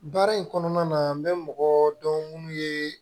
Baara in kɔnɔna na n bɛ mɔgɔ dɔn minnu ye